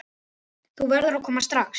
Þú verður að koma strax!